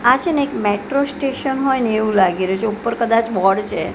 આ છે ને એક મેટ્રો સ્ટેશન હોય ને એવુ લાગી રહ્યું છે ઉપર કદાચ બોર્ડ છે.